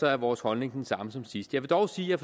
er vores holdning den samme som sidst jeg vil dog sige at